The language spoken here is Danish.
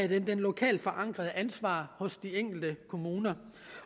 det lokalt forankrede ansvar hos de enkelte kommuner